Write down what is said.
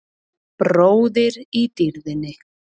Bróðir í dýrðinni.